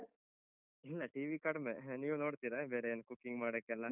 ಇಲ್ಲ TV ಕಡಿಮೆ, ನೀವು ನೋಡ್ತೀರಾ ಬೇರೆ ಎಲ್ಲ cooking ಮಾಡೋಕೆಲ್ಲ.